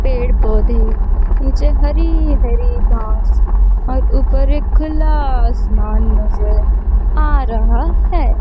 पेड़-पौधे नीचे हरी-हरी घास और ऊपर एक खुला आसमान से आ रहा है।